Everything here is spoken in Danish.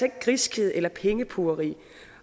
ikke griskhed eller pengepugeri